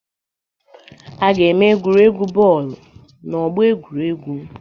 A ga-eme egwuregwu bọọlụ n'ọgbọ egwuregwu.